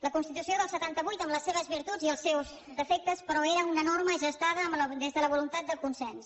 la constitució del setanta vuit amb les seves virtuts i els seus defectes però era una norma gestada des de la voluntat de consens